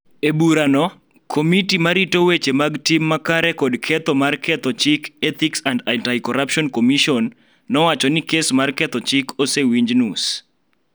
E burano, Komiti ma rito weche mag tim makare kod ketho mar ketho chik Ethics and Anti-Corruption Commission nowacho ni kes mar ketho chik osewinji nus,